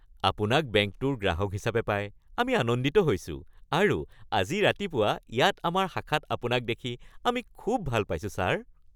আপোনাক বেংকটোৰ গ্ৰাহক হিচাপে পাই আমি আনন্দিত হৈছোঁ আৰু আজি ৰাতিপুৱা ইয়াত আমাৰ শাখাত আপোনাক দেখি আমি খুব ভাল পাইছোঁ, ছাৰ! (বেংক ক্লাৰ্ক)